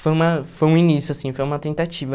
Foi uma foi um início, assim, foi uma tentativa.